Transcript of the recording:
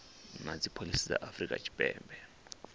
na dzipholisi dza afrika tshipembe